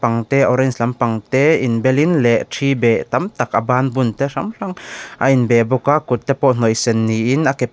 ang te orange lampang te inbelin leh ṭhi beh tam tak a bân bunte hrang hrang a inbeh bawk a kutte pawh hnawih sen niin a ke pakhat--